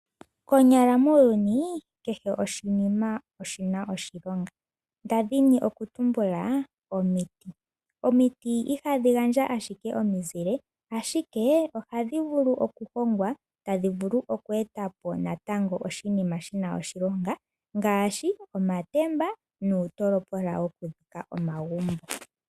Konyala muuyuni kehe oshinima oshi na oshilonga nda dhini okutumbula omiti. Omiti ihadhi gandja ashike omizile ashike ohadhi vulu okuhongwa etadhi vulu okweeta po natango oshinima shi na oshilonga ngaashi omatemba nuutolopola wokudhika omagumbo.